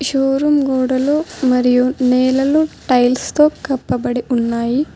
Showroom గోడలు మరియు నేలలు టైల్స్ తో కప్పబడి ఉన్నాయి.